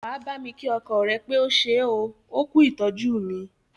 Wà á bámi kí ọkọ rẹ pé ó ṣé oo, ó kú ìtọ́jú mí!